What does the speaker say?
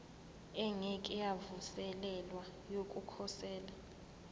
engeke yavuselelwa yokukhosela